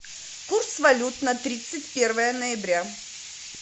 курс валют на тридцать первое ноября